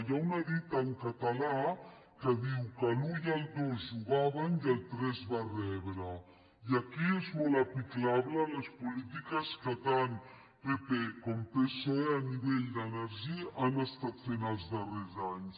hi ha una dita en català que diu que l’u i el dos jugaven i el tres va rebre i aquí és molt aplicable a les polítiques que tant pp com psoe a nivell d’energia han estat fent els dar·rers anys